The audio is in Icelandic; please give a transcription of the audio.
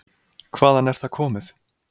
Hvaðan er það komið?